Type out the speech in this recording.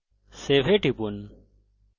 save এ টিপুন